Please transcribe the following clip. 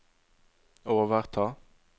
overta